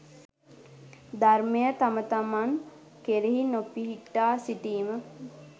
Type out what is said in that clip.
ධර්මය තම තමන් කෙරෙහි නොපිහිටා සිටීම